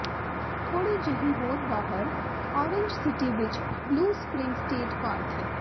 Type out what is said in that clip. ਥੋੜ੍ਹੀ ਜਿਹੀ ਹੋਰ ਬਾਹਰ ਆਰੇਂਜ ਸਿਟੀ ਵਿੱਚ ਬਲੂ ਸਪਰਿੰਗ ਸਟੇਟ ਪਾਰਕ ਹੈ